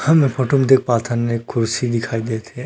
हम ए फोटो म देख पाथन एक कुर्सी दिखाई दत हे।